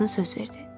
Qadın söz verdi.